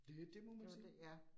Det det må man sige